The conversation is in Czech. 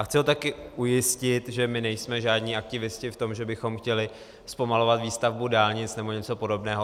A chci ho také ujistit, že my nejsme žádní aktivisté v tom, že bychom chtěli zpomalovat výstavbu dálnic nebo něco podobného.